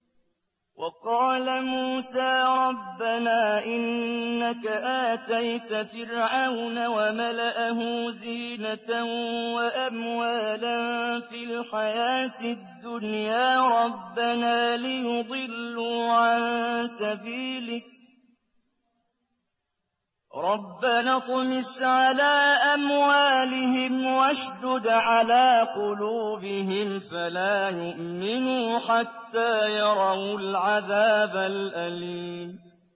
وَقَالَ مُوسَىٰ رَبَّنَا إِنَّكَ آتَيْتَ فِرْعَوْنَ وَمَلَأَهُ زِينَةً وَأَمْوَالًا فِي الْحَيَاةِ الدُّنْيَا رَبَّنَا لِيُضِلُّوا عَن سَبِيلِكَ ۖ رَبَّنَا اطْمِسْ عَلَىٰ أَمْوَالِهِمْ وَاشْدُدْ عَلَىٰ قُلُوبِهِمْ فَلَا يُؤْمِنُوا حَتَّىٰ يَرَوُا الْعَذَابَ الْأَلِيمَ